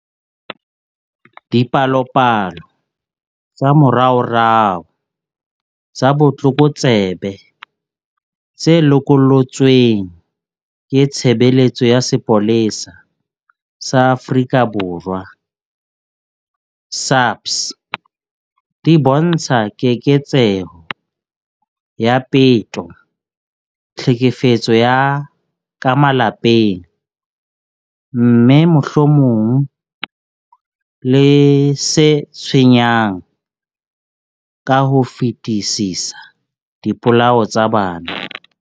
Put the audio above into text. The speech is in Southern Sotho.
Dipalopalo tsa moraorao tsa botlokotsebe tse lokollotsweng ke Tshebeletso ya Sepolesa sa Afrika Borwa, SAPS, di bontsha keketseho ya peto, tlhekefetso ya ka malapeng, mme, mohlomong le se tshwenyang ka ho fetisisa, dipolao tsa bana.